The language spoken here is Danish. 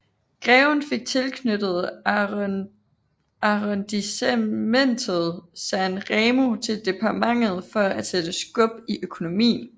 Greven fik tilknyttet arrondissementet San Remo til departementet for at sætte skub i økonomien